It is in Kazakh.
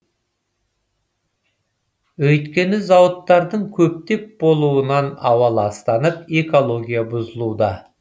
өйткені зауыттардың көптеп болуынан ауа ластанып экология бұзылуда